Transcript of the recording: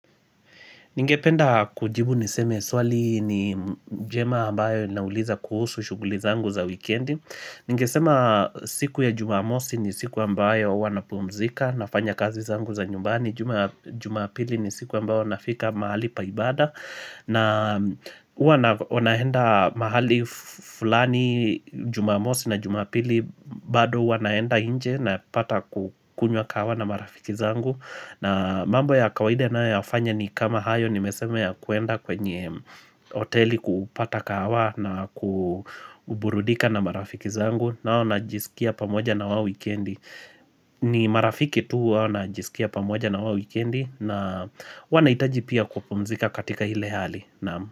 Ningependa kujibu niseme swali ni jema ambayo nauliza kuhusu shuguli zangu za wikendi. Ningesema siku ya jumamosi ni siku ambayo huwa napumzika nafanya kazi zangu za nyumbani. Jumapili ni siku ambayo nafika mahali pa ibada. Na uwa nahenda mahali fulani jumamosi na jumapili bado huwa naenda inje napata kukunywa kahawa na marafiki zangu. Na mambo ya kawaida ninayoyafanya ni kama hayo nimeseme ya kuenda kwenye oteli kupata kahawa na kuburudika na marafiki zangu nao najisikia pamoja na wao wikendi ni marafiki tu huwa najisikia pamoja na wao wikendi na huwa naitaji pia kupumzika katika hile hali.